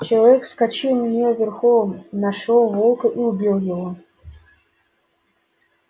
человек вскочил на неё верхом нашёл волка и убил его